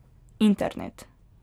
Internet.